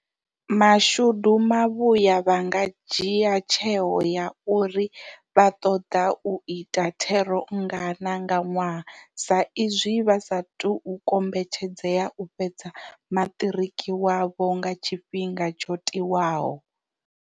Mashudu mavhuya vha nga dzhia tsheo ya uri vha ṱoḓa u ita thero nngana nga ṅwaha saizwi vha sa tou kombetshedzea u fhedza maṱiriki wavho nga tshifhinga tsho tiwaho.